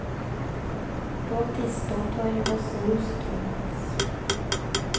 På et tidspunkt var hun også hustruen hans.